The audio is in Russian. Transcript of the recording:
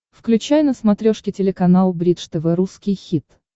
включай на смотрешке телеканал бридж тв русский хит